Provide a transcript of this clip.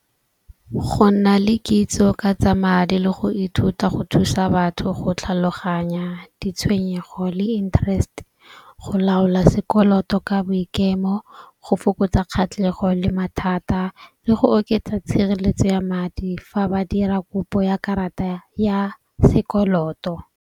Go nna le kitso ka tsa madi le go ithuta go thusa batho go tlhaloganya ditshwenyego le interest, go laola sekoloto ka boikemo, go fokotsa kgatlhego le mathata le go oketsa tshireletso ya madi fa ba dira kopo ya karata ya sekoloto.